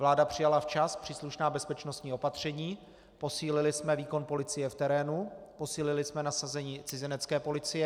Vláda přijala včas příslušná bezpečnostní opatření, posílili jsme výkon policie v terénu, posílili jsme nasazení cizinecké policie.